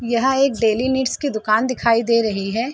यह एक dairy needs की दुकान दिखाई दे रही है।